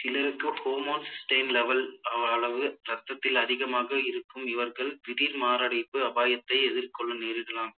சிலது சிலருக்கு homocysteine level ஆன அளவு இரத்தத்தில் அதிகமாக இருக்கும் இவர்கள் திடீர் மாரடைப்பு அபாயத்தை எதிர்கொள்ள நேரிடலாம்